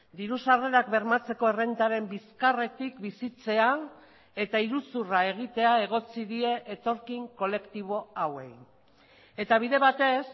diru sarrerak bermatzeko errentaren bizkarretik bizitzea eta iruzurra egitea egotzi die etorkin kolektibo hauei eta bide batez